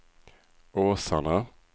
Åsarna